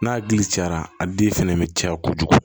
N'a dili cayara a den fɛnɛ be caya kojugu